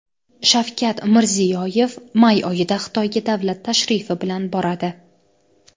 Shavkat Mirziyoyev may oyida Xitoyga davlat tashrifi bilan boradi.